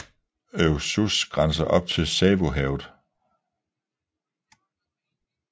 Oecusse grænser op til Savu havet